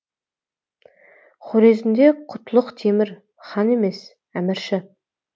хорезмде құтлық темір хан емес әмірші